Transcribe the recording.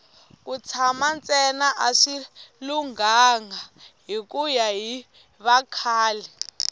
ku tshana ntsena a swi lunghanga hikuya hi vakhale